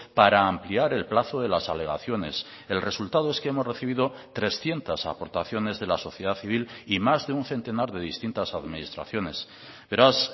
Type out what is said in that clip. para ampliar el plazo de las alegaciones el resultado es que hemos recibido trescientos aportaciones de la sociedad civil y más de un centenar de distintas administraciones beraz